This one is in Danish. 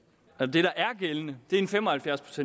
det der er gældende er en fem og halvfjerds